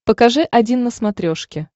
покажи один на смотрешке